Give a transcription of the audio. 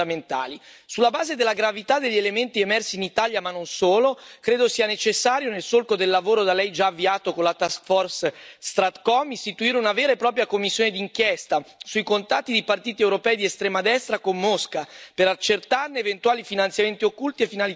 Sulla base della gravità degli elementi emersi in Italia, ma non solo, credo sia necessario, nel solco del lavoro da Lei già avviato con la task force StratCom, istituire una vera e propria commissione d'inchiesta sui contatti di partiti europei di estrema destra con Mosca per accertarne eventuali finanziamenti occulti e finalità politiche.